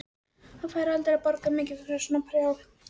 Hann færi aldrei að borga mikið fyrir svona prjál.